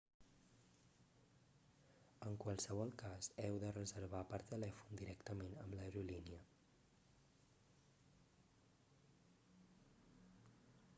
en qualsevol cas heu de reservar per telèfon directament amb l'aerolínia